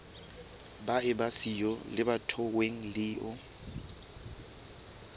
ba eba siyo lebatoweng leo